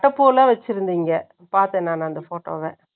அட்டை பூவெல்லாம் வச்சிருந்தீங்க, பார்த்தேன் நான் அந்த photo வ.